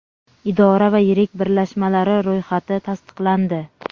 idora va yirik birlashmalari ro‘yxati tasdiqlandi.